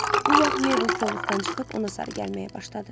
Bu vaxt Meybl kolluqdan çıxıb ona sarı gəlməyə başladı.